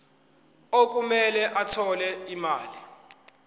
okumele athole imali